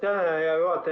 Aitäh, hea juhataja!